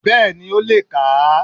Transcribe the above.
Bẹ́ẹ̀ni ó le è kà á